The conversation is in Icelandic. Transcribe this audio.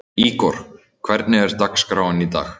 Ígor, hvernig er dagskráin í dag?